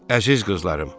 Əziz qızlarım!